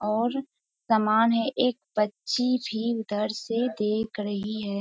और समान है एक बच्ची भी उधर से देख रही है।